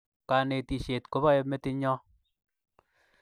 Kanetishet kopae metit nyo